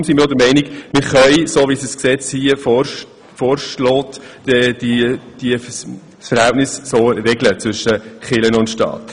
Deshalb sind wir auch der Meinung, dass wir das Verhältnis zwischen Kirche und Staat so regeln können, wie es in diesem Gesetzesentwurf vorgesehen ist.